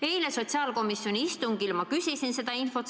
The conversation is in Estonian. Eile sotsiaalkomisjoni istungil ma küsisin selle kohta infot.